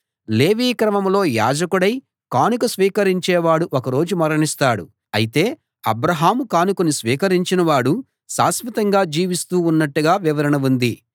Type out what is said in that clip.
లేవీ క్రమంలో యాజకుడై కానుక స్వీకరించేవాడు ఒకరోజు మరణిస్తాడు అయితే అబ్రాహాము కానుకను స్వీకరించిన వాడు శాశ్వతంగా జీవిస్తూ ఉన్నట్టుగా వివరణ ఉంది